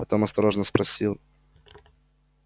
потом осторожно спросил